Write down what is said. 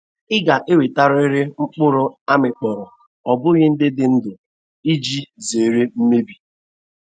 I ga-ewetarịrị mkpụrụ a mịkpọrọ o bụghị ndị dị ndụ iji zere mmebi.